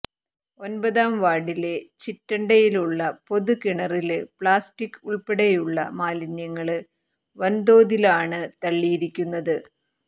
ഒന്പതാം വാര്ഡിലെ ചിറ്റണ്ടയിലുള്ള പൊതുകിണറില് പ്ലാസ്റ്റിക് ഉള്പ്പടെയുള്ള മാലിന്യങ്ങള് വന്തോതിലാണ് തള്ളിയിരിക്കുന്നത്